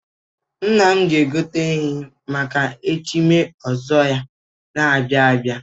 Nna m ga-egote ehi maka echim ọzọ ya na-abịa abịa.